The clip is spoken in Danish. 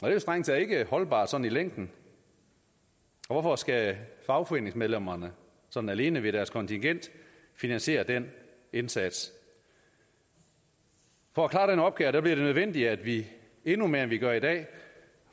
er jo strengt taget ikke holdbart sådan i længden hvorfor skal fagforeningsmedlemmerne sådan alene ved deres kontingent finansiere den indsats for at klare den opgave bliver det nødvendigt at vi endnu mere end vi gør i dag